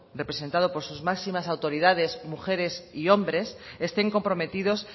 representado por sus máximas autoridades mujeres y hombres estén comprometidos